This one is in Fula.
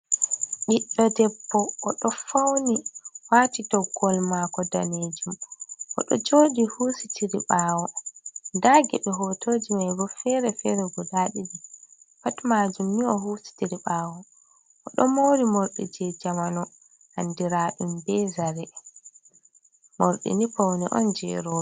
Biɗdo debbo o do fauni wati toggool mako danejum o do jodi hosi tiri bawo da gebe hotoji mai bo fere fere guda ɗidi pat majum ni o hositiri bawo o do mori mordi je jamanu andiradum be zare mordi ni pauni on je robe.